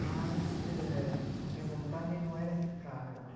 Mas eh, minha vontade não era ficar lá.